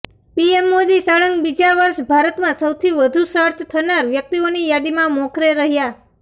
PM Modi સળંગ બીજા વર્ષે ભારતમાં સૌથી વધુ સર્ચ થનાર વ્યક્તિઓની યાદીમાં મોખરે રહ્યા